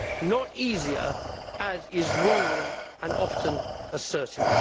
Not easier, as is wrongly and often asserted.